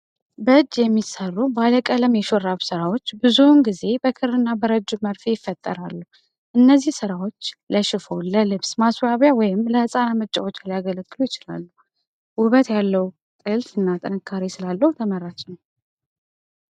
በእጅ የሚሠሩ ባለቀለም የሹራብ ሥራዎች ብዙውን ጊዜ በክርና በረጅም መርፌ ይፈጠራሉ። እነዚህ ሥራዎች ለሽፋን፣ ለልብስ ማስዋቢያ ወይም ለህፃናት መጫወቻ ሊያገለግሉ ይችላሉ። ውበት ያለው ጥልፍ እና ጥንካሬ ስላለው ተመራጭ ነው።